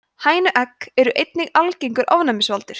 hænuegg eru einnig algengur ofnæmisvaldur